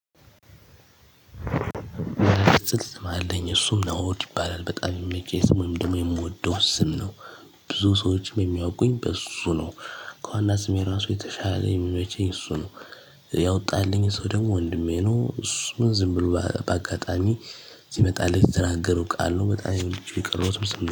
ስም አለኝ እሱም ናኦድ ይባላል በጣም የሚመቸኝ ወይም ደግሞ የምወደው ስም ነው። ብዙ ሰዎችም የሚያውቁኝ በሱ ነው። ከዋና ስሜ ራሱ የተሻለ የሚመቸኝ እሱ ነው። ያወጣልኝ ሰው ደግሞ ወንድሜ ነው እሱን ዝም ብሎ በአጋጣሚ ሲመጣላት የተናገረው ቃል ነው። በጣም ይቅር የቀረው